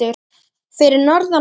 Fyrir norðan.